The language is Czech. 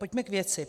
Pojďme k věci.